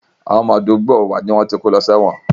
Àwọn ọmọ ìta àdúgbò wa ni wọ́n ti kó lọ sí ẹ̀wọ̀n